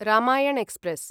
Ramayana express